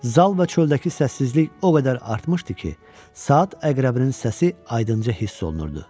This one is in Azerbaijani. Zal və çöldəki səssizlik o qədər artmışdı ki, saat əqrəbinin səsi aydınca hiss olunurdu.